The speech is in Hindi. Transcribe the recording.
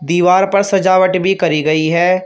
दीवार पर सजावट भी करी गई है।